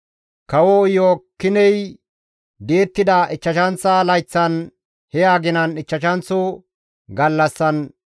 Kawo Iyo7aakiney di7ettida ichchashanththa layththan, he aginan ichchashanththo gallassan,